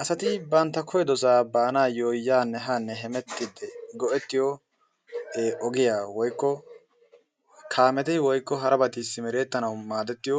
Asati bantta koyyidosaa baanaayyo go"ettiyo yaanne haanne hemettiiddi go"ettiyo ogiya woykko kaameti woykko harabati simerettanawu maadettiyo